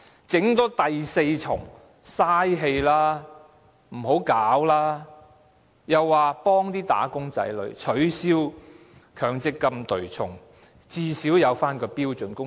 政府又說要幫助"打工仔女"取消強積金對沖，最少設立標準工時。